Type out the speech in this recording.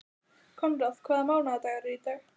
Konráð, hvaða mánaðardagur er í dag?